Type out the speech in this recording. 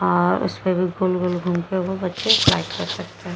और उसपे भी गोल गोल घूम के वो बच्चे स्लाईड कर सकते --